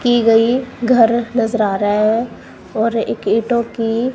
की गई घर नजर आ रहा है और एक ईंटों की--